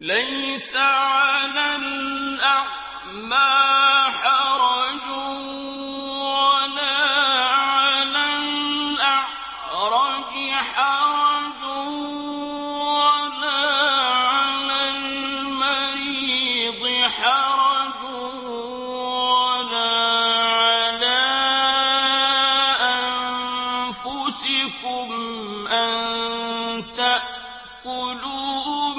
لَّيْسَ عَلَى الْأَعْمَىٰ حَرَجٌ وَلَا عَلَى الْأَعْرَجِ حَرَجٌ وَلَا عَلَى الْمَرِيضِ حَرَجٌ وَلَا عَلَىٰ أَنفُسِكُمْ أَن تَأْكُلُوا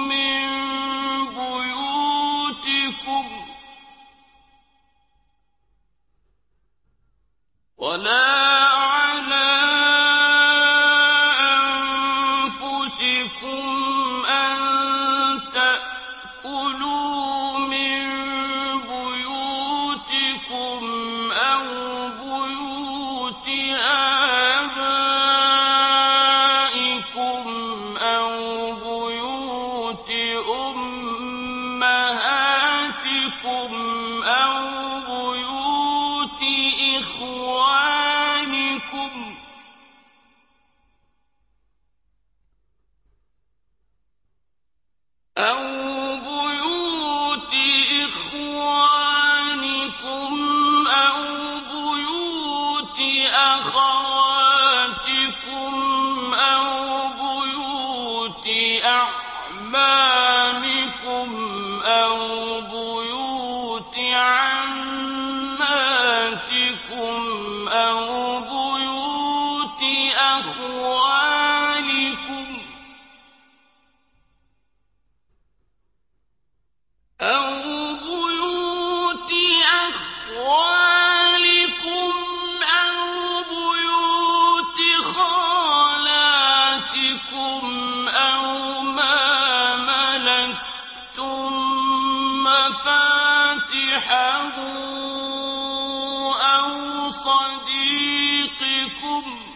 مِن بُيُوتِكُمْ أَوْ بُيُوتِ آبَائِكُمْ أَوْ بُيُوتِ أُمَّهَاتِكُمْ أَوْ بُيُوتِ إِخْوَانِكُمْ أَوْ بُيُوتِ أَخَوَاتِكُمْ أَوْ بُيُوتِ أَعْمَامِكُمْ أَوْ بُيُوتِ عَمَّاتِكُمْ أَوْ بُيُوتِ أَخْوَالِكُمْ أَوْ بُيُوتِ خَالَاتِكُمْ أَوْ مَا مَلَكْتُم مَّفَاتِحَهُ أَوْ صَدِيقِكُمْ ۚ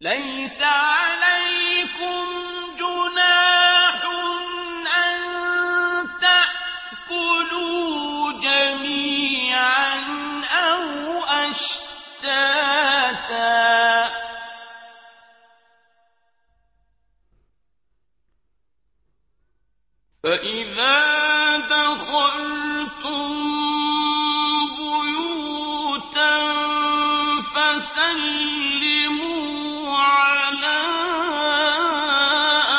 لَيْسَ عَلَيْكُمْ جُنَاحٌ أَن تَأْكُلُوا جَمِيعًا أَوْ أَشْتَاتًا ۚ فَإِذَا دَخَلْتُم بُيُوتًا فَسَلِّمُوا عَلَىٰ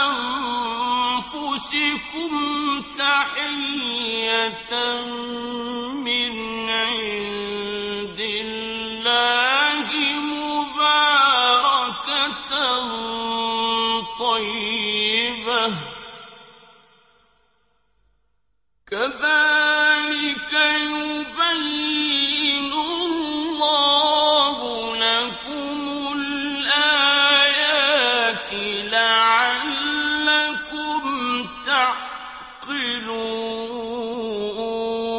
أَنفُسِكُمْ تَحِيَّةً مِّنْ عِندِ اللَّهِ مُبَارَكَةً طَيِّبَةً ۚ كَذَٰلِكَ يُبَيِّنُ اللَّهُ لَكُمُ الْآيَاتِ لَعَلَّكُمْ تَعْقِلُونَ